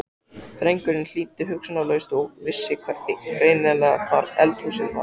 Drengurinn hlýddi hugsunarlaust og vissi greinilega hvar eldhúsið var.